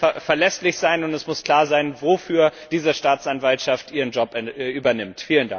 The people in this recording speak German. Das muss verlässlich sein, und es muss klar sein, wofür diese Staatsanwaltschaft ihren Job übernimmt.